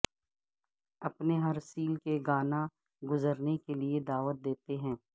اپنے ہر سیل کے گانا گزرنے کے لئے دعوت دیتے ہیں